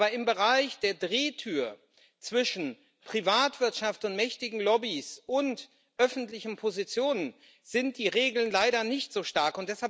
Aber im Bereich der Drehtür zwischen Privatwirtschaft und mächtigen Lobbys und öffentlichen Positionen sind die Regeln leider nicht so stark.